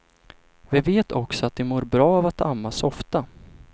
Vi vet också att de mår bra av att ammas ofta.